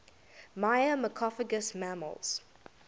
myrmecophagous mammals